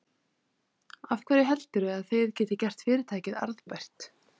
Af hverju heldurðu að þið getið gert fyrirtækið arðbært?